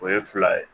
O ye fila ye